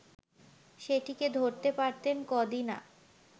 সেটিকে ধরতে পারতেন কদিনা